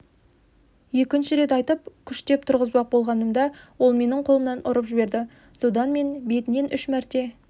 екінші рет айтып күштеп тұрғызбақ болғанымда ол менің қолымнан ұрып жіберді содан мен бетінен үш мәрте